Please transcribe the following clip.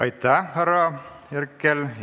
Aitäh, härra Herkel!